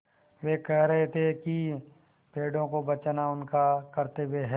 वे कह रहे थे कि पेड़ों को बचाना उनका कर्त्तव्य है